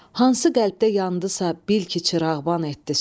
Hansı qəlbdə yandısa, bil ki, çırağban etdi söz.